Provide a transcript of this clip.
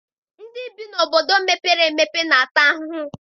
Ndị bi n'obodo mepere emepe na-ata ahụhụ.